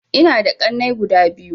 Ina da ƙanai guda biyu